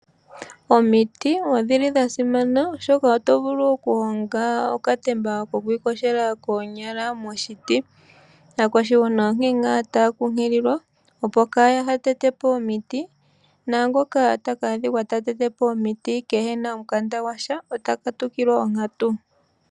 Omiti odhili dha simana oshoka oto vulu okuhonga okatemba kokwiiyogela koonyala moshiti. Aakwashigwana onkene ngaa taya kunkililwa opo kaaya tete po omiti naangoka taka adhikwa ta tete po omiti keena omukanda gwasha ota katukilwa onkatu.